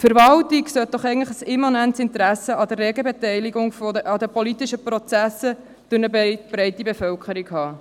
Die Verwaltung sollte eigentlich ein immanentes Interesse an der regen Beteiligung an den politischen Prozessen durch eine breite Bevölkerung haben.